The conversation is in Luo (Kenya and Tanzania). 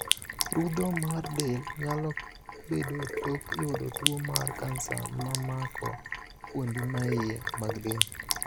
Rudho mar del nyalo bedo tok yudo tuo mar kansa mamako fuondi maiye mag del.